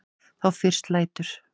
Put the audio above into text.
Þá fyrst lætur